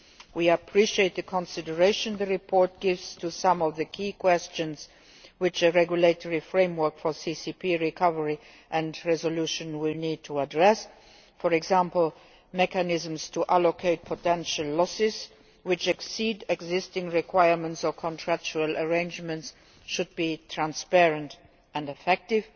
We appreciate the consideration the report gives to some of the key questions which a regulatory framework for CCP recovery and resolution will need to address for example, mechanisms to allocate potential losses which exceed existing requirements or contractual arrangements should be transparent and effective.